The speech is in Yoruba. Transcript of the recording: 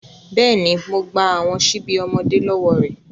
Bẹ́ẹ̀ni, Mo gba awọn ṣibi ọmọde lọwọ rẹ